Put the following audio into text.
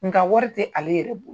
Nka wari tɛ ale yɛrɛ bolo